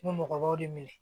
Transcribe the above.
N bɛ mɔgɔbaw de minɛ